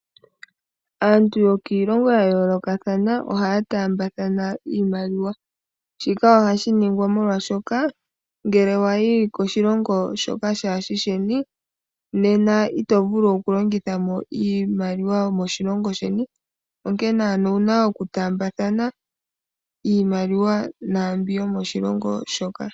Aantu yokiilongo ya yoolokathana ohaya taambathana iimaliwa. Shika ohashi ningwa molwashoka ngele wa yi koshilongo shoka kaashi shi sheni, ito vulu okulongitha mo iimaliwa yomoshilongo sheni, onkene owu na okutaambathana iimaliwa naambyoka yomoshilongo shoka.